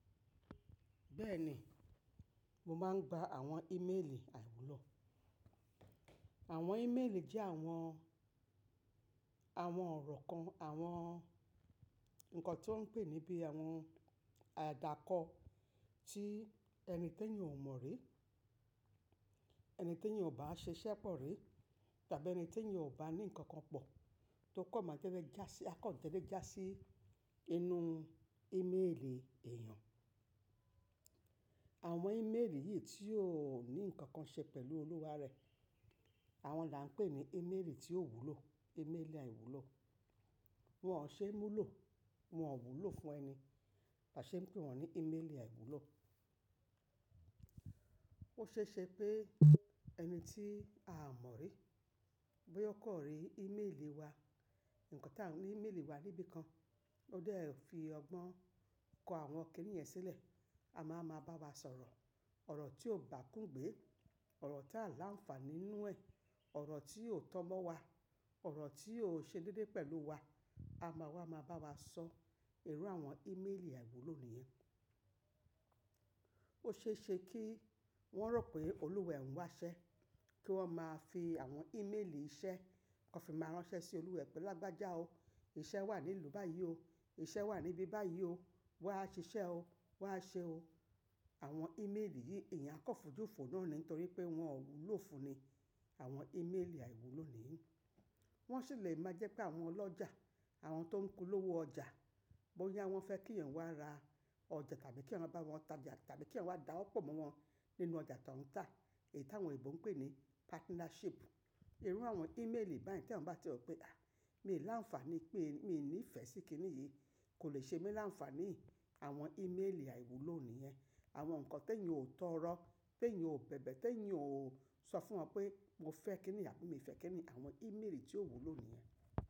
Bẹ́ẹ̀ni, mo máa ń gba àwọn ímeèlì àìwúlò. Àwọn ímeèlì jẹ́ àwọn, àwọn ọ̀rọ̀ kan, àwọn nǹkan tí wọ́n ń pè níbí àwọn àdàkọ tí ẹni tí èèyàn ò mọ̀ rí, ẹni tí èèyàn ò bá ṣe iṣẹ́ pọ̀ rí tàbí ẹni tí ẹniò bá ní nǹkan kan pọ̀ tó kọ̀ máa tẹ́lẹ̀ ẹ jásí, a kan dédé ẹ jásí inú ímeèlì èèyàn. Àwọn ímeèlì yìí tí ò ní nǹkan ṣe pẹ̀lú olúwa rẹ̀, àwọn là ń pè ní ímeèlì tí ó wúlò, ímeèlì àìwúlò. Wọn ò ṣe é mú lò, wọn ò wúlò fún ẹni, là ṣe ń pè wọ́n ní ímeèlì àìwúlò. Ó ṣe é ṣe pé ẹni tí a mọ̀ rí bóyá kọ̀ rí ímeèlì wa, nǹkan tí à ń ní ímeèlì wa níbí kan, ó dé ẹ fi ọgbọ́n kọ àwọn kíníyẹn sílẹ̀, a máa máa bá wa sọ̀rọ̀ ọ̀rọ̀ tí ò bà kún gbé, ọ̀rọ̀ tí a là ń fa nínú ẹ̀, ọ̀rọ̀ tí ò tọ́mọ́ wa, ọ̀rọ̀ tí ò ṣe déédéé pẹ̀lú wa, a máa wá máa bá wa sọ, irú àwọn ímeèlì àìwúlò nìyẹn. Ó ṣe é ṣe kí wọ́n rò pé olúwa ń wá iṣẹ́, kí wọ́n máa fi àwọn ímeèlì iṣẹ́, kan fi máa ránṣẹ́ sí olúwẹ̀ pé, "Lágbájá o, iṣẹ́ wà ní ìlú báyìí o, iṣẹ́ wà níbí báyìí o, wà á ṣe iṣẹ́ o, wà á ṣe o." Àwọn ímeèlì yìí èèyàn a kàn fojú fòó náà ni nítorí pé wọn ò wúlò fún ni, àwọn ímeèlì àìwúlò nìyí. Wọ́n sì lè máa jẹ́ pé àwọn ọlọ́jà, àwọn tó ń polówó ọjà, bóyá wọ́n fẹ́ kí ẹ̀yin wá ra ọjà tàbí kí ẹ̀yin wá bá wọn tajà tàbí kí ẹ̀yin wá dáwọ́pọ̀ mọ́ wọn nínú ọjà tó ń tà èyí tí àwọn ìbò ń pè ní partnership. Irú àwọn ímeèlì báyìí tí àwọn bá ti rò pé, "À, mi ò láǹfààní pé mi ò ní ìfẹ́ sí kíní yìí, kò lè ṣe mi láǹfààní." Àwọn ímeèlì àìwúlò nìyẹn. Àwọn nǹkan tí ẹ̀yin ò tọ́rọ́, pé ẹ̀yin ò bẹ̀bẹ̀, tí ẹ̀yin ò sọ fún wọn pé mo fẹ́ kíní àbí mi ò fẹ́ kíní, àwọn ímeèlì tí ó wúlò nìyẹn.